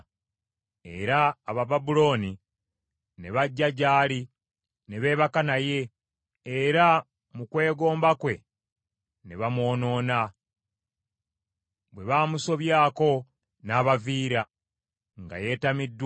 Era Abababulooni ne bajja gy’ali, ne beebaka naye, era mu kwegomba kwe ne bamwonoona. Bwe baamusobyako n’abaviira, nga yeetamiddwa.